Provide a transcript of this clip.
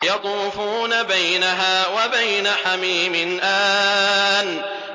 يَطُوفُونَ بَيْنَهَا وَبَيْنَ حَمِيمٍ آنٍ